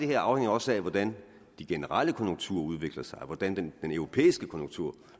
her afhænger også af hvordan de generelle konjunkturer udvikler sig og hvordan de europæiske konjunkturer